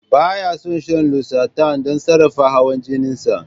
Ba ya shan losartan don sarrafa hawan jinin sa.